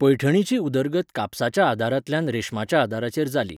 पैठणीची उदरगत कापसाच्या आदारांतल्यान रेशमाच्या आदाराचेर जाली.